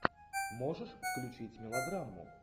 можешь включить мелодраму